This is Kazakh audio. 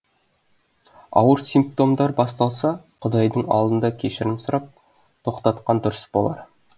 ауыр симптомдар басталса құдайдың алдында кешірім сұрап тоқтатқан дұрыс болар